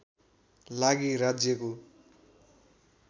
लागि राज्यको